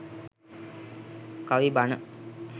kavi bana